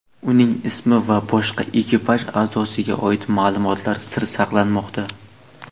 Uning ismi va boshqa ekipaj a’zosiga oid ma’lumotlar sir saqlanmoqda.